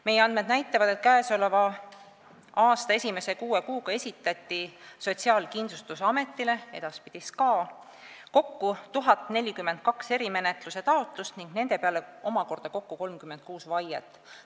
Meie andmed näitavad, et käesoleva aasta esimese kuue kuuga esitati Sotsiaalkindlustusametile kokku 1042 erimenetluse taotlust ning nende peale omakorda kokku 36 vaiet.